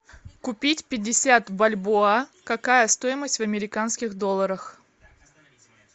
купить пятьдесят бальбоа какая стоимость в американских долларах